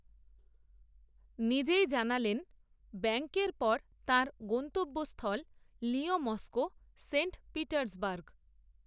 নিজেই জানালেন ব্যাঙ্ককের পর তাঁর, গন্তব্যস্থল, লিয়ঁ মস্কো, সেন্ট পিটার্সবার্গ